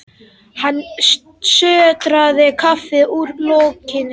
Hann sötraði kaffið úr lokinu.